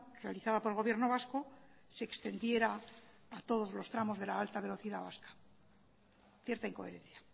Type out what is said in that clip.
realizada por el gobierno vasco se extendiera a todos los tramos de la alta velocidad vasca cierta incoherencia